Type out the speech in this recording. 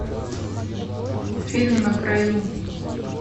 фильм на краю